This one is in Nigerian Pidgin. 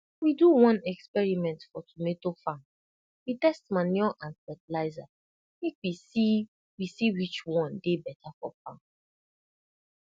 we do one experiment for tomato farm we test manure and fertilizer make we see we see which one dey beta for farm